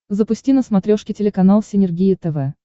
запусти на смотрешке телеканал синергия тв